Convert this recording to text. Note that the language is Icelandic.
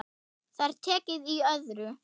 Það er tekið í öðru.